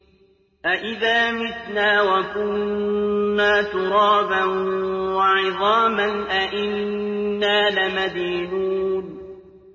أَإِذَا مِتْنَا وَكُنَّا تُرَابًا وَعِظَامًا أَإِنَّا لَمَدِينُونَ